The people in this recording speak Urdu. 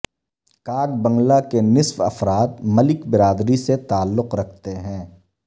کاک بنگلہ کے نصف افراد ملک برادری سے تعلق رکھتے ہیں